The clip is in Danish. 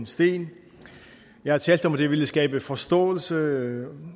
stenen jeg har talt om at det ville skabe forståelse